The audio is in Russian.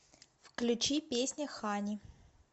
включи песня хани